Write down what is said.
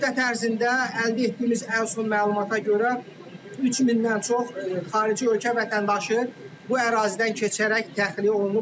Bu müddət ərzində əldə etdiyimiz ən son məlumata görə, 3 mindən çox xarici ölkə vətəndaşı bu ərazidən keçərək təxliyə olunub.